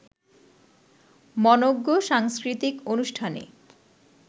মনোঙ্গ সাংস্কৃতিক অনুষ্ঠানে